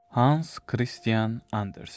Hans Kristian Andersen.